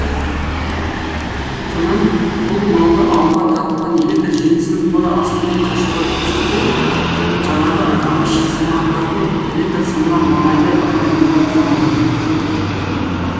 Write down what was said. сонан бұл малды ауылға тартылған электр желісінің тура астымен қашуға көшті де жаңағы аңшысымақтардың электр сымына маңайлай алмай дымы құрыды